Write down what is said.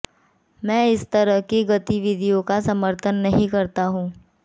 मैं इस तरह की गतिविधियों का समर्थन नहीं करता हूं